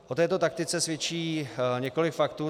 O této taktice svědčí několik faktů.